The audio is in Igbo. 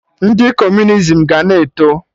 Ndị Kọmunizim ga na-eto